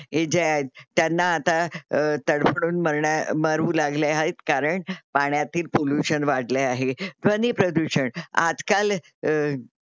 हे जे आहेत त्यांना आता अ तडफडून मरण्या मरू लागले आहेत कारण पानातील पोलूशन वाढले आहे. ध्वनी प्रदूषण. आजकाल अ